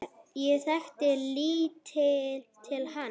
Ég þekkti lítið til hans.